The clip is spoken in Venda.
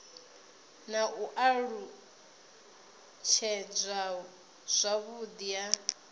na u alutshedzwa zwavhudi ha